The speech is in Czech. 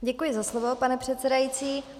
Děkuji za slovo, pane předsedající.